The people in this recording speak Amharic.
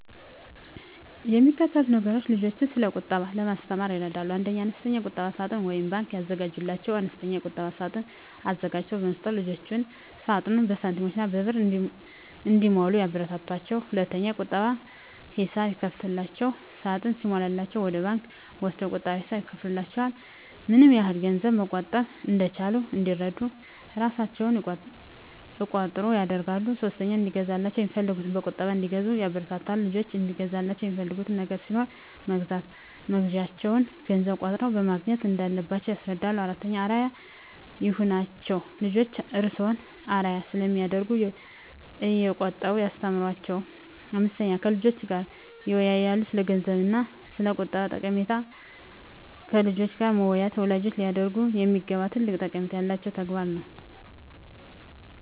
የሚከተሉት ቁምነገሮች ልጆችን ስለቁጠባ ለማስተማር ይረዳሉ 1. አነስተኛ የቁጠባ ሳጥን (ባንክ) ያዘጋጁላቸው፦ አነስተኛ የቁጠባ ሳጥን አዘጋጅቶ በመስጠት ልጆችዎ ሳጥኑን በሳንቲሞችና በብር እንዲሞሉ ያበረታቷቸው። 2. የቁጠባ ሂሳብ ይክፈቱላቸው፦ ሳጥኑ ሲሞላላቸው ወደ ባንክ ወስደው የቁጠባ ሂሳብ ይክፈቱላቸው። ምንያህል ገንዘብ መቆጠብ እንደቻሉ እንዲረዱ እራሣቸው እቆጥሩ ያድርጉ። 3. እንዲገዛላቸው የሚፈልጉትን በቁጠባ እንዲገዙ ያበረታቱ፦ ልጆችዎ እንዲገዙላቸው የሚፈልጉት ነገር ሲኖር መግዣውን ገንዘብ ቆጥበው ማግኘት እንዳለባቸው ያስረዷቸው። 4. አርአያ ይሁኗቸው፦ ልጆችዎ እርስዎን አርአያ ስለሚያደርጉ እየቆጠቡ ያስተምሯቸው። 5. ከልጆችዎ ጋር ይወያዩ፦ ስለገንዘብ እና ስለቁጠባ ጠቀሜታ ከልጆች ጋር መወያየት ወላጆች ሊያደርጉት የሚገባ ትልቅ ጠቀሜታ ያለው ተግባር ነው።